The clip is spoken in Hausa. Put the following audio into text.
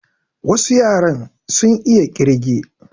Wasu yaran sun iya ƙirge